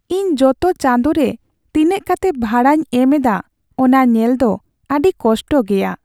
ᱤᱧ ᱡᱚᱛᱚ ᱪᱟᱸᱫᱳ ᱨᱮ ᱛᱤᱱᱟᱹᱜ ᱠᱟᱛᱮ ᱵᱷᱟᱲᱟᱧ ᱮᱢ ᱮᱫᱟ ᱚᱱᱟ ᱧᱮᱞ ᱫᱚ ᱟᱹᱰᱤ ᱠᱚᱥᱴᱚ ᱜᱮᱭᱟ ᱾